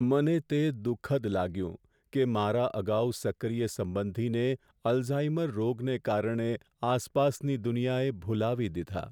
મને તે દુખદ લાગ્યું કે મારા અગાઉ સક્રિય સંબંધીને અલ્ઝાઈમર રોગને કારણે આસપાસની દુનિયાએ ભૂલાવી દીધા.